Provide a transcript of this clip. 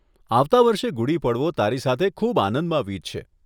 આવતા વર્ષે ગુડી પડવો તારી સાથે ખૂબ આનંદમાં હશે.